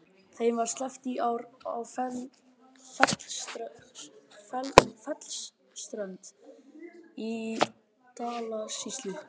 Þeim var sleppt í ár á Fellsströnd í Dalasýslu.